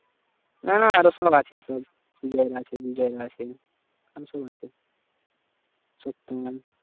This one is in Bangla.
না না আরো সব আছে সব সুজয় রা আছে বিজয় রা আছে আরো সব আছে সত্তম